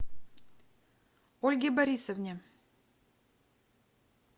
ольге борисовне